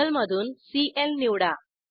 टेबलमधून सीएल निवडा